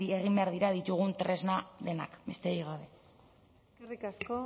egin behar dira ditugun tresna denak besterik gabe eskerrik asko